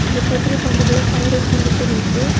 இந்த பெட்ரோல் பம்புக்குள்ள fire extinguisher இருக்குது.